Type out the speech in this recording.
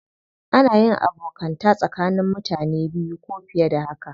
Ana yin abokanta tsakanin mutane biyu ko fiye da haka.